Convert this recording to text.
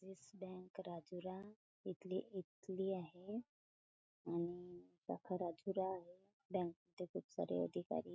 दिस bank Rajura इथली इथली आहे आणि शाखा राजुरा बँके चे खूप सारे अधिकारी--